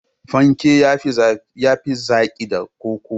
Fanke ya fi zaki da koko.